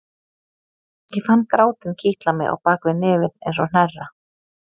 Ég fann grátinn kitla mig á bak við nefið eins og hnerra.